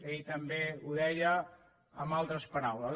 ell també ho deia amb altres paraules